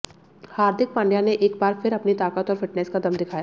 हार्दिक पांड्या ने एक बार फिर अपनी ताकत और फिटनेस का दम दिखाया